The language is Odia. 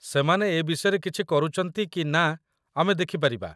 ସେମାନେ ଏ ବିଷୟରେ କିଛି କରୁଚନ୍ତି କି ନା ଆମେ ଦେଖିପାରିବା।